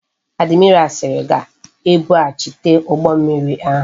Admiral siri ga ebu ghachite ugbo mmiri ahu